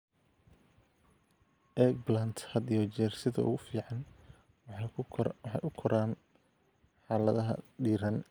Eggplant had iyo jeer sida ugu fiican waxay u koraan xaaladaha diiran.